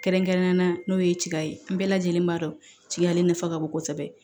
Kɛrɛnkɛrɛnnenya la n'o ye cika ye n bɛɛ lajɛlen b'a dɔn ciyalen nafa ka bon kosɛbɛ